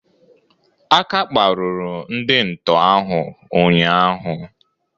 Aka kparuru ndị nto ahụ ụnyaahụ